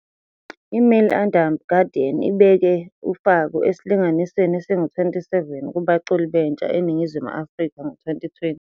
"I-Mail and Guardian", ibeke u-Faku esilinganisweni esingu-27 kubaculi bentsha eNingizimu Afrika, ngo-2020.